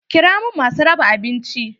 Kira min masu raba abinci!